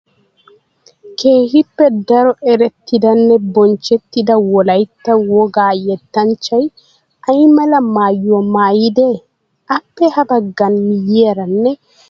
Keehippe daro erettidanne bonchchettida wolaytta wogaa yettanchay ay mala maayyuwaa maayidee? Appe habagga miyyiyaaranne ya bagga miyyiyaara eqqida asaa qoofay woysee